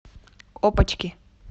опочки